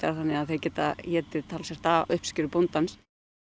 þannig að þeir geta étið talsvert af uppskeru bóndans